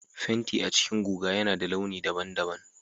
Fenti a cikin guga yana da launi daban-daban